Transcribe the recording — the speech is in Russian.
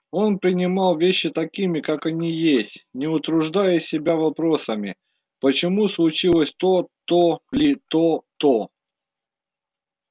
он принимал вещи такими как они есть не утруждая себя вопросом почему случилось то то или то то